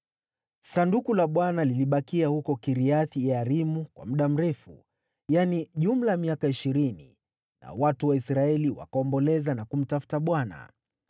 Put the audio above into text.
Sanduku la Bwana lilibakia huko Kiriath-Yearimu kwa muda mrefu, yaani jumla ya miaka ishirini, nao watu wa Israeli wakaomboleza na kumtafuta Bwana .